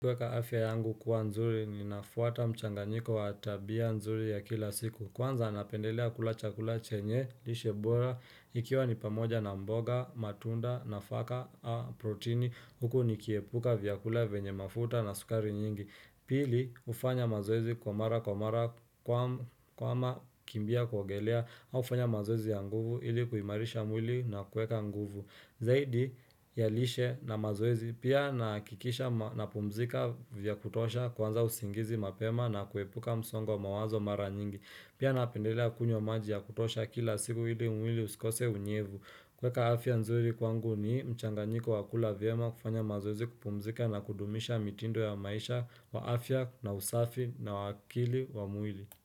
Kueka afya yangu kuwa mzuri, inafuata mchanganyiko wa tabia nzuri ya kila siku. Kwanza napendelea kula chakula chenye, lishe bora, ikiwa ni pamoja na mboga, matunda, nafaka, a protini, huku nikiepuka vyakula venye mafuta na sukari nyingi. Pili, kufanya mazoezi kwa mara kwa mara kama kukimbia kuogelea au kufanya mazoezi ya nguvu ili kuimarisha mwili na kweka nguvu. Zaidi, ya lishe na mazoezi pia nahakikisha na pumzika vya kutosha kwanza usingizi mapema na kuepuka msongwa mawazo mara nyingi. Pia napendelea kunywa maji ya kutosha kila siku ili mwili usikose unyevu. Kueka afya nzuri kwangu ni mchanganyiko wa kula vyema kufanya mazoezi kupumzika na kudumisha mitindo ya maisha wa afya na usafi na wa akili wa mwili.